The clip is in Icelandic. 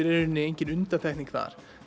í rauninni engin undantekning þar